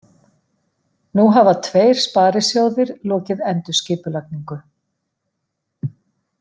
Nú hafa tveir sparisjóðir lokið endurskipulagningu